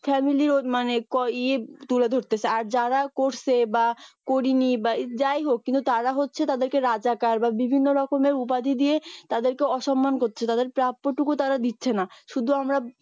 মানে ক ইয়ে তুলে ধরতে চায় আর যারা করছে বা করিনি বা যাই হোক কিন্তু তারা হচ্ছে তাদেরকে রাজা বিভিন্ন রকম উপাধি দিয়ে তাদেরকে অসম্মান করছে তাদের প্রাপ্যটুকুও তারা দিচ্ছেনা শুধু আমরা